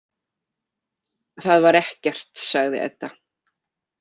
Það var ekkert, sagði Edda.